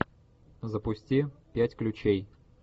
запусти пять ключей